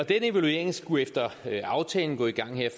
evaluering skulle efter aftalen gå i gang her